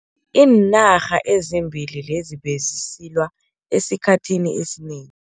Iinarha ezimbili lezi bezisilwa esikhathini esinengi.